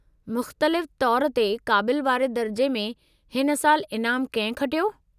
मुख़्तलिफ़ु तौरु ते क़ाबिलु वारे दर्जे में हिन साल इनामु कंहिं खटियो?